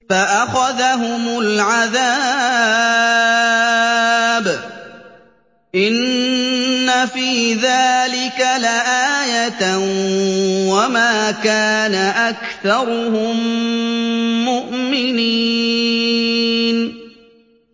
فَأَخَذَهُمُ الْعَذَابُ ۗ إِنَّ فِي ذَٰلِكَ لَآيَةً ۖ وَمَا كَانَ أَكْثَرُهُم مُّؤْمِنِينَ